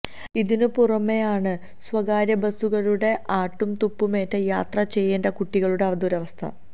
ഇതിനു പുറമെയാണ് സ്വകാര്യബസുകാരുടെ ആട്ടും തുപ്പുമേറ്റ് യാത്ര ചെയ്യേണ്ട കുട്ടികളുടെ ദുരവസ്ഥ